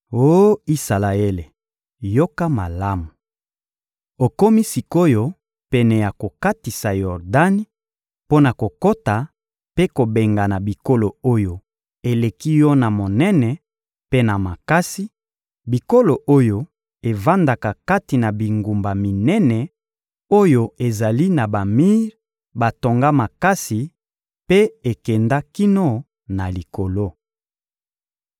Oh Isalaele, yoka malamu! Okomi sik’oyo pene ya kokatisa Yordani mpo na kokota mpe kobengana bikolo oyo eleki yo na monene mpe na makasi, bikolo oyo evandaka kati na bingumba minene oyo ezali na bamir batonga makasi mpe ekenda kino na likolo.